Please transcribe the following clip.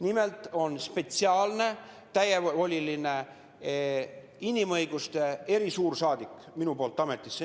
Nimelt olen ma ametisse nimetanud spetsiaalse täievolilise inimõiguste erisuursaadiku.